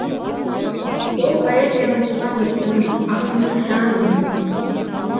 ол поэзияның туған мекені ақынның жан дүниесі